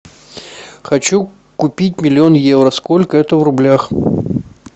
хочу купить миллион евро сколько это в рублях